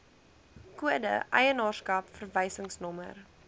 kode eienaarskap verwysingsnommer